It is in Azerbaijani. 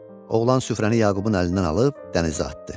Oğlan süfrəni Yaqubun əlindən alıb dənizə atdı.